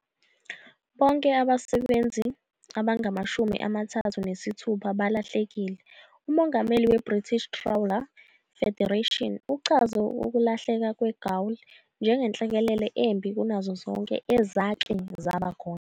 Bonke abasebenzi abangamashumi amathathu nesithupha balahlekile. Umongameli weBritish Trawler Federation uchaze ukulahleka "kweGaul" "njengenhlekelele embi kunazo zonke ezake zaba khona".